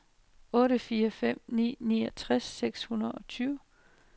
otte fire fem ni niogtres seks hundrede og tyve